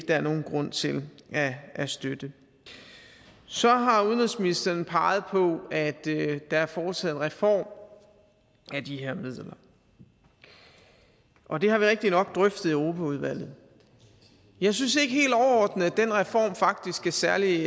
der er nogen grund til at støtte så har udenrigsministeren peget på at der er foretaget en reform af de her midler og det har vi rigtignok drøftet i europaudvalget jeg synes ikke helt overordnet at den reform faktisk er særlig